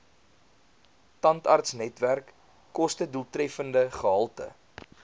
tandartsnetwerk kostedoeltreffende gehalte